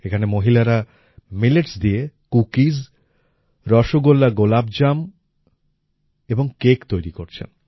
এখানে মহিলারা মিলেটস দিয়ে কুকিস রসগোল্লা গোলাপজাম ও কেক তৈরি করছেন